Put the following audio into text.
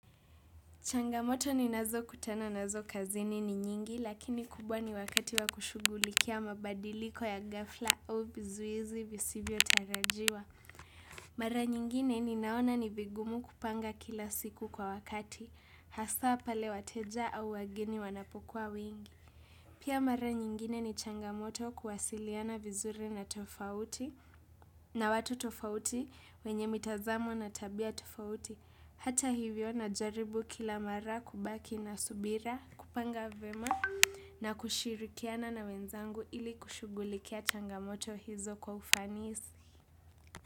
Changamoto ninazo kutana nazo kazini ni nyingi lakini kubwa ni wakati wa kushughulikia mabadiliko ya ghafla au vizuizi visivyo tarajiwa. Mara nyingine ninaona ni vigumu kupanga kila siku kwa wakati, hasa pale wateja au wageni wanapokuwa wengi. Pia mara nyingine ni changamoto kuwasiliana vizuri na tofauti, na watu tofauti wenye mitazamo na tabia tofauti. Hata hivyo najaribu kila mara kubaki na subira kupanga vyema. Na kushirikiana na wenzangu ili kushughulikia changamoto hizo kwa ufanisi.